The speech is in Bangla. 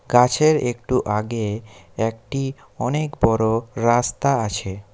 গাছের একটু আগে একটি অনেক বড়ো রাস্তা আছে।